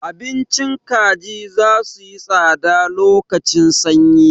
Abincin kaji za suyi tsada lokacin sanyi.